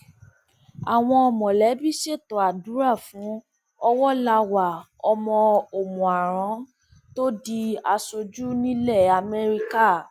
àwọn mọlẹbí ṣètò àdúrà fún ọwọláwà ọmọ òmùaran tó di aṣojú nílẹ amẹríkà